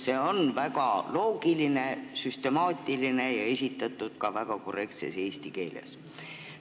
See on väga loogiline, süstemaatiline ja esitatud ka väga korrektses eesti keeles.